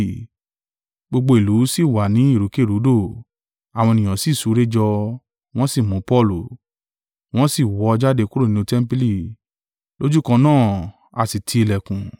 Gbogbo ìlú sì wà ní ìrúkèrúdò, àwọn ènìyàn sì súré jọ wọ́n sì mú Paulu, wọ́n sì wọ́ ọ jáde kúrò nínú tẹmpili: lójúkan náà, a sì ti ìlẹ̀kùn.